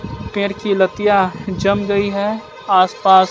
पेड़ की लतिया जम गई है आस पास--